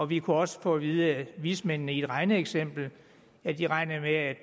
vi kunne også få at vide af vismændene i et regneeksempel at de regnede med